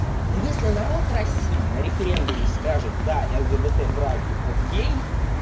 ну если народ россии на референдуме скажет да лгбт браки окей